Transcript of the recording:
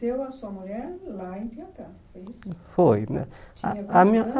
a sua mulher lá em Piatá, foi isso? Foi a a